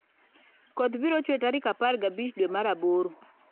Koth biro chwe tarik apar gi abich dwe mar aboro